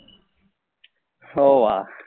હો વા